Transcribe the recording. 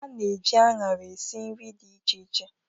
A na-eji anara esi nri dị iche iche.